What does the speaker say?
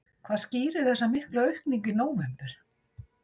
Hvað skýrir þessa miklu aukningu í nóvember?